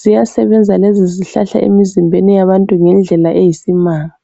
siyasebenza lesi isihlahla emzimbeni yabantu ngendlela eyisimanga